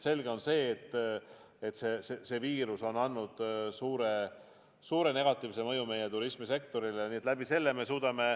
Selge on see, et viirusel on olnud suur negatiivne mõju meie turismisektorile.